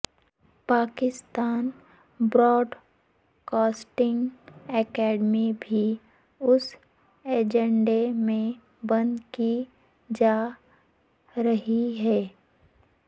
Pakistan broadcasting academy بھی اس ایجنڈے میں بند کی جا رھی ھے